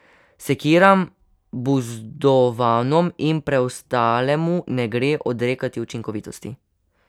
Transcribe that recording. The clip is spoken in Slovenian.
Sekiram, buzdovanom in preostalemu ne gre odrekati učinkovitosti.